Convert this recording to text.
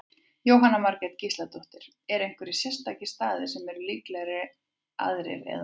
Jóhanna Margrét Gísladóttir: Eru einhverjir sérstakir staðir sem eru líklegri aðrir, eða?